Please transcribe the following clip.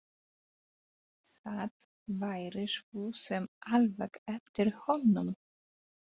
Það væri svo sem alveg eftir honum.